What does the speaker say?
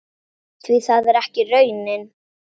Því það er ekki raunin.